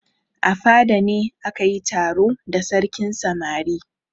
A fada ne aka yi taro da sarkin samari.